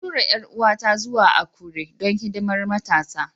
An tura 'yar'uwata zuwa Akure don hidimar Matasa.